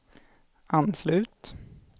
anslut